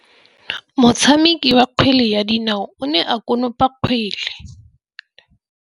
Motshameki wa kgwele ya dinaô o ne a konopa kgwele.